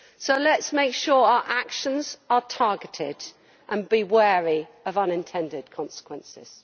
So let us make sure our actions are targeted and be wary of unintended consequences.